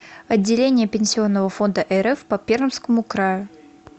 отделение пенсионного фонда рф по пермскому краю